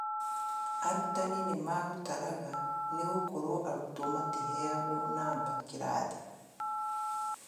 Arutani nĩ magũtaraga nĩ gũkorwo arutwo matiheagwo namba kĩrathi